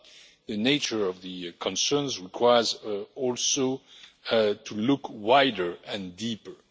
but the nature of the concerns requires also to look wider and deeper.